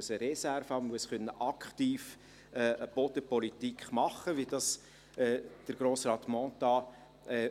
Er muss eine Reserve haben, er muss aktive Bodenpolitik machen können, wie dies Grossrat Mentha